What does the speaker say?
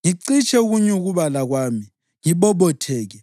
ngicitshe ukunyukubala kwami, ngibobotheke,’